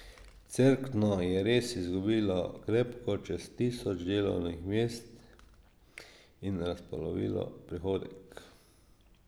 Cerkno je res izgubilo krepko čez tisoč delovnih mest in razpolovilo prihodek.